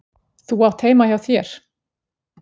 Þú átt heima heima hjá þér!